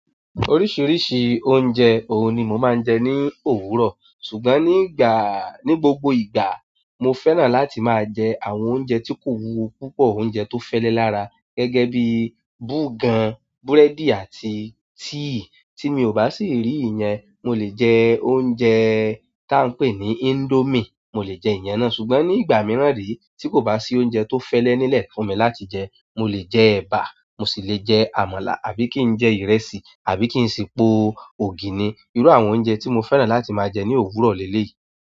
Oríṣiríṣi oúnjẹ òun ni mo máa ń jẹ ní òwúrọ̀, ṣùgbọ́n ní ìgbà-- ní gbogbo ìgbà mo fẹ́ràn láti máa jẹ àwọn oúnjẹ tí kò wúwo púpọ̀, oúnjẹ tó fẹ́lẹ́ lára gẹ́gẹ́ bí búgàn, búrẹ́dì àti tíì. Tí mi ò bá sì rí ìyẹn, mo lè jẹ oúnjẹẹẹ́ tá ń pè ní índómì, mo lè jẹ ìyẹn ná. Ṣùgbọ́n ní ìgbà mìíràn re tí kò bá sí oúnjẹ tó fẹ́lẹ́ nílẹ̀ fún mi láti jẹ, mo lè jẹ ẹ̀bà, mo sì lè jẹ àmàlà àbí kí n jẹ ìrẹsì, àbí kí n sì po ògìni. Irú àwọn oúnjẹ tí mo fẹ́ràn láti máa jẹ ní òwúrọ̀ léyìí.